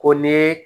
Ko ni ye